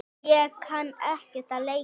Ég kann ekkert að leika.